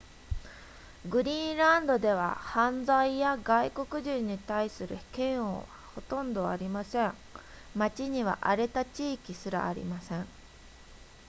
グリーンランドでは犯罪や外国人に対する嫌悪はほとんどありません町には荒れた地域すらありません